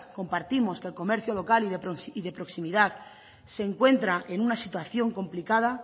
compartimos que el comercio local y de proximidad se encuentra en una situación complicada